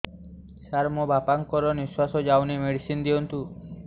ସାର ମୋର ବାପା ଙ୍କର ନିଃଶ୍ବାସ ଯାଉନି ମେଡିସିନ ଦିଅନ୍ତୁ